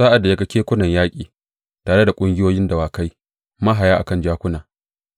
Sa’ad da ya ga kekunan yaƙi tare da ƙungiyoyin dawakai, mahaya a kan jakuna,